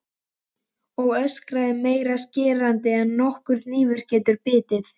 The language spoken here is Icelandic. Og öskrið meira skerandi en nokkur hnífur getur bitið.